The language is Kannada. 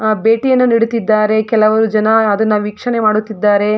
ಆಹ್ಹ್ ಭೇಟಿಯನ್ನು ನೀಡುತ್ತಿದ್ದಾರೆ ಕೆಲವು ಜನ ಅದನ್ನ ವೀಕ್ಷಣೆ ಮಾಡುತಿದ್ದರೆ.